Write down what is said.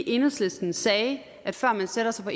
enhedslisten sagde at før man sætter sig på